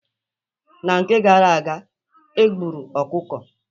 Na nke gara aga, egburu ọkụkọ.